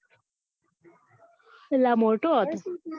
એટલે આ મોટો હતો